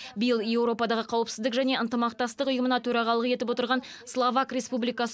биыл еуропадағы қауіпсіздік және ынтымақтастық ұйымына төрағалық етіп отырған словак республикасы